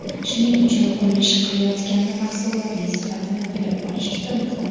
Shuning uchun qurilish qilayotganda mahsulotning sifatini bilib olish juda muhim.